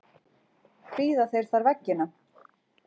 Prýða þeir þar veggina.